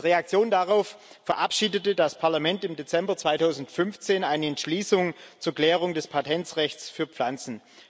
Als Reaktion darauf verabschiedete das Parlament im Dezember 2015 eine Entschließung zur Klärung des Patentrechts für Pflanzen.